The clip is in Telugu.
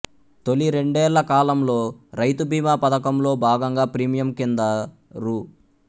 తొలి రెండేళ్ళకాలంలో రైతుబీమా పథకంలో భాగంగా ప్రీమియం కింద రూ